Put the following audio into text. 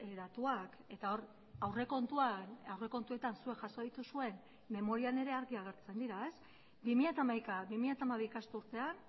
datuak eta hor aurrekontuan aurrekontuetan zuek jaso dituzuen memorian ere argi agertzen dira bi mila hamaika bi mila hamabi ikasturtean